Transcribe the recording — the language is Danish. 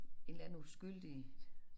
En eller anden uskyldig